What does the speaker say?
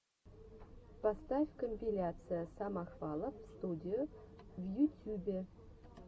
поставь компиляция самохвалов студио в ютюбе